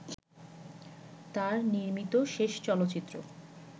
তার নির্মিত শেষ চলচ্চিত্র